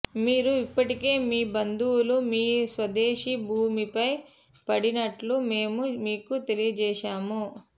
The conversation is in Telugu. మీరు ఇప్పటికే మీ బంధువులు మీ స్వదేశీ భూమిపై పడినట్లు మేము మీకు తెలియజేశాము